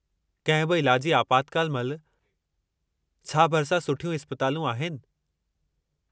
कंहिं बि इलाजी आपातकाल महिल, छा भरिसां सुठियूं इस्पतालूं आहिनि?